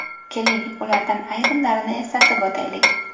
Keling, ulardan ayrimlarini eslatib o‘taylik.